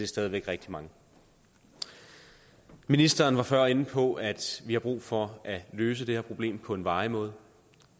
stadig væk rigtig mange ministeren var før inde på at vi har brug for at løse det her problem på en varig måde